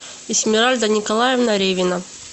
эсмиральда николаевна ревина